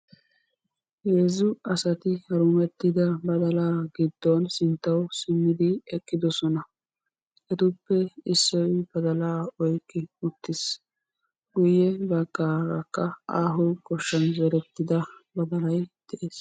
Heezzu asati harumettida badalaa giddon sinttauw simmidi eqqidosona etappe Issoyi badalaa oykki uttis. Guyye baggaarakka aaho goshshan zerettida badalayi de'es.